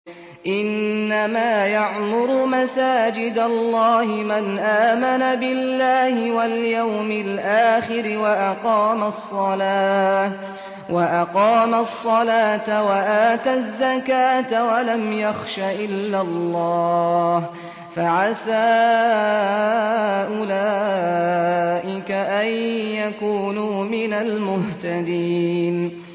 إِنَّمَا يَعْمُرُ مَسَاجِدَ اللَّهِ مَنْ آمَنَ بِاللَّهِ وَالْيَوْمِ الْآخِرِ وَأَقَامَ الصَّلَاةَ وَآتَى الزَّكَاةَ وَلَمْ يَخْشَ إِلَّا اللَّهَ ۖ فَعَسَىٰ أُولَٰئِكَ أَن يَكُونُوا مِنَ الْمُهْتَدِينَ